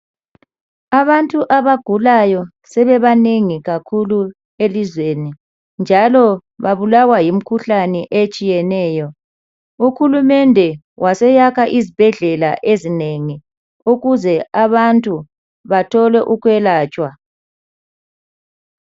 Abantu abagulayo sebebanengi kakhulu elizweni njalo babulawa yimikhuhlane etshiyeneyo. Uhulumende waseyakha izibhedlela ezinengi ukuze abantu bathole ukwelatshwa.